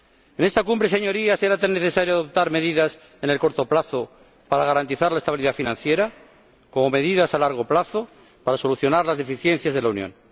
En esta Cumbre, Señorías, era tan necesario adoptar medidas a corto plazo, para garantizar la estabilidad financiera, como medidas a largo plazo, para solucionar las deficiencias de la Unión.